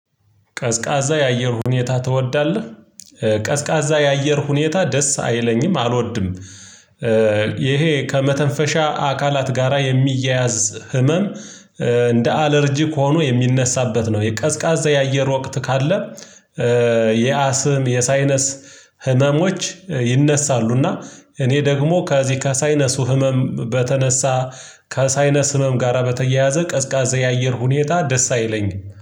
ቀዝቃዛ የአየር ሁኔታ ትወዳለህ? ቀዝቃዛ የአየር ሁኔታ ደስ አይለኝም አልወድም። ይሄ ከመተንፈሻ አካላት ጋራ የሚያያዝ ህመም። እንደ አለርጂክ ሆኖ የሚነሳበት ነው የቀዝቃዛ የአየር ወቅት ካለ። የአስም የሳይነስ ህመሞች ይነሳሉ። እና እኔ ደግሞ ከዚ ከሳይነሱ ህመም በተነሳ ከሳይነስ ህመም ጋር በተያያዘ ቀዝቃዛ የአየር ሁኔታ ደስ አይለኝም